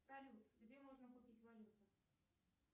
салют где можно купить валюту